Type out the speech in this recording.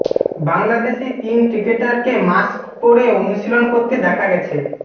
বাংলাদেশি তিন ক্রিকেটারকে মাস্ক পরে অনুশীলন করতে দেখা গেছে